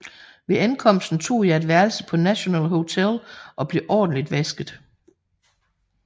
Ved ankomsten tog jeg et værelse på National Hotel og blev ordentligt vasket